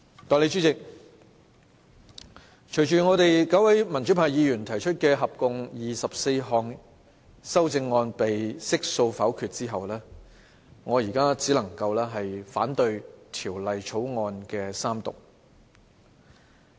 代理主席，隨着合共24項由9位民主派議員提出的修正案被悉數否決後，我現在只能夠反對《條例草案》三讀。